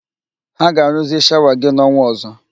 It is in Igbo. Ha ga-arụzi shawa gị n'ọnwa ọzọ